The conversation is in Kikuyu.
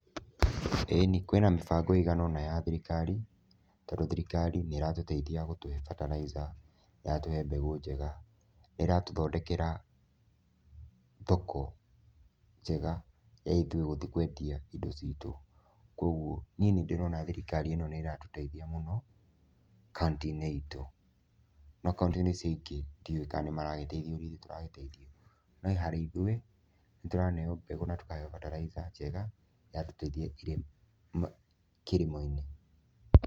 Ĩni kwĩ na mĩbango ĩigana ũna ya thirikari, tondũ thirikari nĩ ĩratũteithia gũtũhe fertilizer, nĩ ĩratũhe mbegũ njega, nĩ ĩratũthondekera thoko njega ya ithuĩ gũthiĩ kwendia indo citũ, koguo niĩ nĩ ndĩrona thirikari ĩno nĩ iratũteithia mũno kauntĩ-inĩ itũ, no kauntĩ-inĩ ici ingĩ ndiũwĩ kana nĩ maragĩteithio ũrĩa ithuĩ tũragĩteithio no harĩ ithuĩ, nĩ tũraheo mbegũ na tũkaheo fertilizer njega, iratũteithia irĩ kilimo -inĩ.